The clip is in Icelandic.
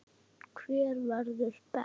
Hver verður best?